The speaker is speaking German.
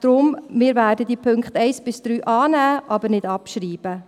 Deshalb werden wir die Punkte 1–3 annehmen, aber nicht abschreiben.